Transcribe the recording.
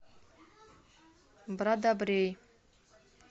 брадобрей